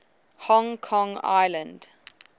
hong kong island